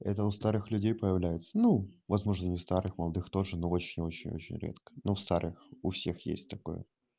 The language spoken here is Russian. это у старых людей появляются ну возможно не старых молодых тоже но очень очень очень редко но старых у всех есть такое